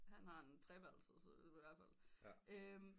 Han har en treværelses ihvertfald